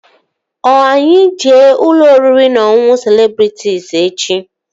Ọ anyị jee ụlọ oriri na ọṅụṅụ Celebrịtịs echi?